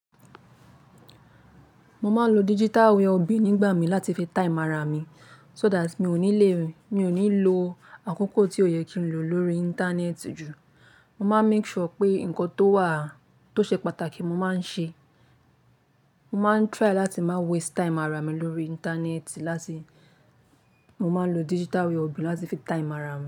Mo máa ń lo digital well-being nígbà mí láti fi time ara mi, so that mi ò ní lè, mi ò ní lo àkókò tí ò yẹ kí n lò lórí íńtánẹ́ẹ̀tì jù. Mo máa ń make sure pé nǹkan tó wà, tó ṣe pàtàkì mo máa ń ṣe. Mo máa ń try láti má waste time ara mi lórí íńtánẹ́ẹ̀tì láti, mo máa ń lo digital well-being láti fi tie amára mi.